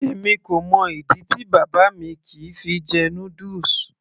èmi kò mọ ìdí tí bàbá mi kìí fi jẹ noodles